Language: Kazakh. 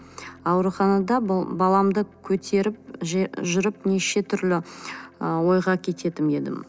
ауруханада баламды көтеріп жүріп неше түрлі ы ойға кететін едім